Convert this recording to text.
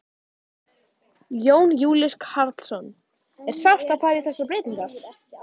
Jón Júlíus Karlsson: Er sárt að fara í þessar breytingar?